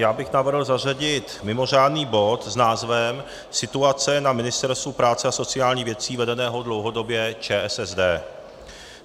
Já bych navrhl zařadit mimořádný bod s názvem Situace na Ministerstvu práce a sociálních věcí vedeném dlouhodobě ČSSD.